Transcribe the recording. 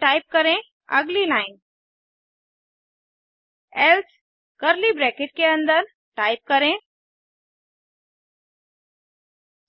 फिर टाइप करेंअगली line else curly brackets के अंदर टाइप करें